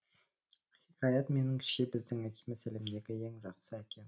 хикаят меніңше біздің әкеміз әлемдегі ең жақсы әке